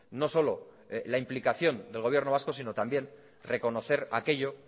no solo la implicación del gobierno vasco sino también reconocer aquello